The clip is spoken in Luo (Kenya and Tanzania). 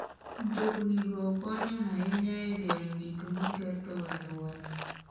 Mtoknigo konyo ahinya e geng'o gik maketho alwora.